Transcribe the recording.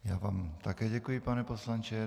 Já vám také děkuji, pane poslanče.